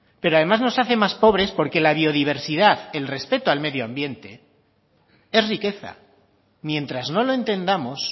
pero además nos hace más pobres porque la biodiversidad el respeto al medioambiente es riqueza mientras no lo entendamos